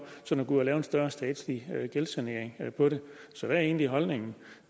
sådan at gå ud og lave en større statslig gældssanering på det så hvad er egentlig holdningen